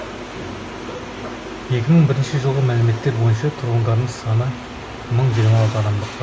екі мың жиырма бірінші жылғы мәліметтер бойынша тұрғындарының саны мың жиырма алты адамды құрайды